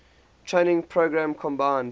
training program combined